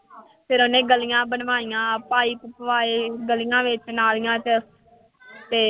ਫਿਰ ਉਹਨੇ ਗਲੀਆਂ ਬਣਵਾਈਆਂ, ਪਾਇਪ ਪਵਾਏ, ਗਲੀਆਂ ਵਿੱਚ, ਨਾਲੀਆਂ ਵਿੱਚ ਤੇ